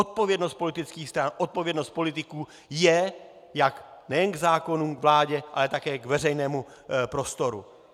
Odpovědnost politických stran, odpovědnost politiků je jak nejen k zákonům, k vládě, ale také k veřejnému prostoru.